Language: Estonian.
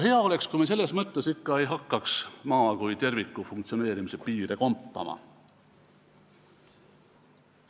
Hea oleks, kui me selles mõttes ei hakkaks Maa kui terviku funktsioneerimise piire kompama.